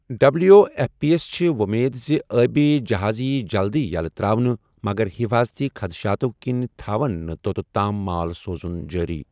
W F P یَس چھِ وۄمید زِ ٲبی جہازٕ یی جلدٕیہ یلہٕ تر٘اونہٕ ،مگر حفٲظتی خدشاتو٘ كِنہِ تھاوَن نہٕ تۄتتھ تام مال سوزُن جٲری۔